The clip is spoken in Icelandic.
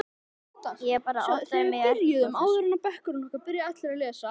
Ég bara áttaði mig ekkert á þessu.